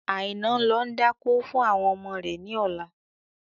Aina ń lọ dákó fún ọmọ rẹ ni ọ̀la.